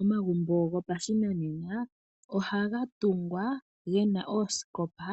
Omagumbo gopashinanena ohaga tungwa, gena oosikopa,